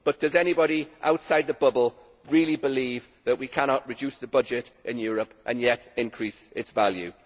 But does anybody outside the bubble really believe that we cannot reduce the budget in Europe and yet increase its value?